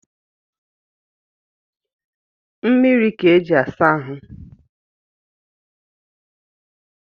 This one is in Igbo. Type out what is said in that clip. Mmiri ka e ji asa ahụ